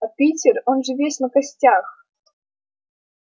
а питер он же весь на костях